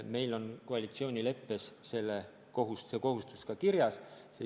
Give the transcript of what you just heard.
Meil on koalitsioonileppes see kohustus ka kirjas.